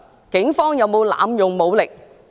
警方有沒有濫用武力？